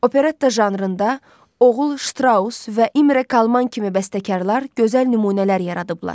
Operetta janrında oğul Ştraus və İmre Kalman kimi bəstəkarlar gözəl nümunələr yaradıblar.